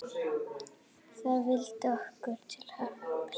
Það vildi okkur til happs.